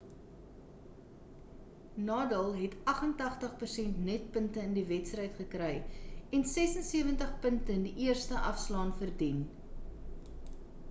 nadal het 88% netpunte in die wedstryd gekry en 76 punte in die eerste afslaan verdien